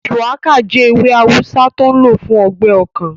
Shùwákà jẹ́ ewé awùsá tó n lò fún ọgbẹ́ ọkàn